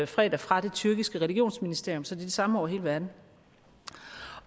fredag fra det tyrkiske religionsministerium så de samme over hele verden